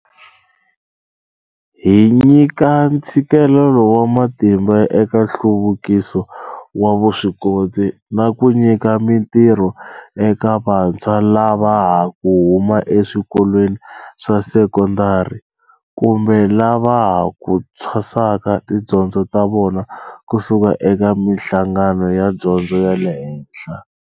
Hi nyika ntshikelelo wa matimba eka nhluvukiso wa vuswikoti na ku nyika mitirho eka vantshwa lava ha ku huma ka eswikolweni swa sekondari kumbe lava ha ku thwasaka tidyondzo ta vona ku suka eka mihlangano ya dyondzo ya le henhla.